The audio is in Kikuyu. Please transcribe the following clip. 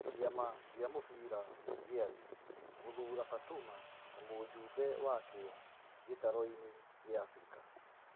Kĩ ama gĩ a mũbira gĩ a thĩ gũthura Fatuma ta mũjumbe wakĩ o gĩ taroinĩ gĩ a Afrika.